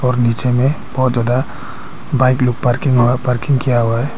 और नीचे में बहोत ज्यादा बाइक लोग पार्किंग किया हुआ है।